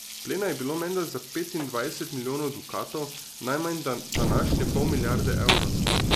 Plena je bilo menda za petindvajset milijonov dukatov, najmanj današnje pol milijarde evrov.